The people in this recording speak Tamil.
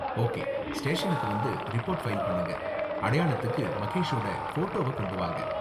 ஓகே, ஸ்டேஷனுக்கு வந்து ரிப்போர்ட் ஃபைல் பண்ணுங்க, அடையாளத்துக்கு மகேஷோட ஃபோட்டோவ கொண்டு வாங்க.